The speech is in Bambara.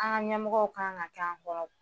An ka ɲɛmɔgɔw kan ka k'an kɔrɔ